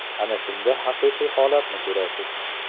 Ana shunda haqiqiy holatni ko‘rasiz.